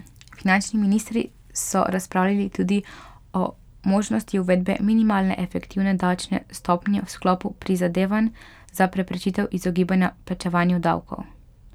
Finančni ministri so razpravljali tudi o možnosti uvedbe minimalne efektivne davčne stopnje v sklopu prizadevanj za preprečitev izogibanja plačevanju davkov.